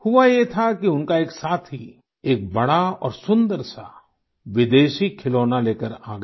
हुआ ये था कि उनका एक साथी एक बड़ा और सुंदर सा विदेशी खिलौना लेकर आ गया